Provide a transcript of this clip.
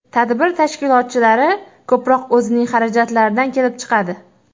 Tadbir tashkilotchilari ko‘proq o‘zining xarajatlaridan kelib chiqadi.